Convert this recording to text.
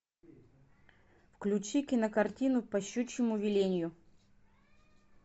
включи кинокартину по щучьему велению